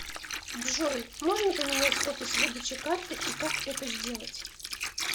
джой можно поменять офис выдачи карты и как это сделать